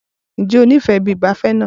Ǹjẹ́ o nífẹ̀ẹ́ ibi ìgbafẹ́ náà?